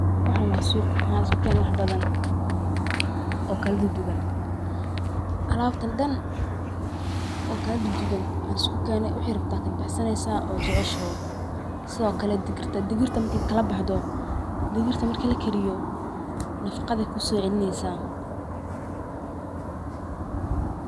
Waxan waa suq, waxa liskukeene wax badan oo kala duduban, alabtan dhan oo kala duduban aa lisku keene, wixid rabto ad kabaxsaneysa od jeceshoho sidokale digirta, digirta marki kala baxdo, digirta marki lakariyo nafaqaday kuso celineysa